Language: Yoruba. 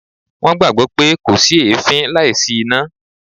Wọ́n gbàgbọ́ pé 'kò sí èéfín láìsí iná'